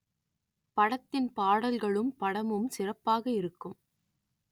படத்தின் பாடல்களும் படமும் சிறப்பாக இருக்கும்